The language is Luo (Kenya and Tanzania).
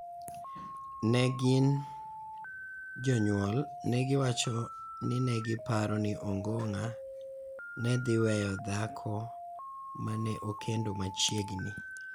Ne gin (jonyuol) ne giwacho ni ne giparo ni Ongong�a ne dhi weyo dhako ma ne okendo machiegni